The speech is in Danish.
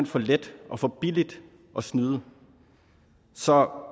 for let og for billigt at snyde så